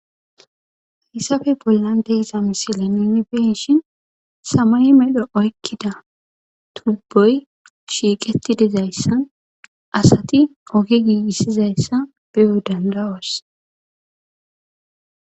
hayssafe bollan deiza misile nimibenshin samay mexro oykkida tubboy shiiqeti dezayssan asati oge giissizayssa biyo dandawos